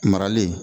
Marali